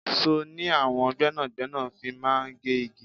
Sọ ni àwọn gbẹ́nàgbẹ́nà fi máa ń gé igi.